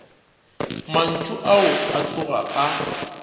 mantšu ao a tloga a